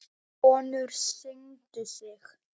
Konur signdu sig.